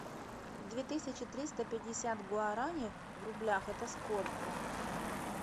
две тысячи триста пятьдесят гуарани в рублях это сколько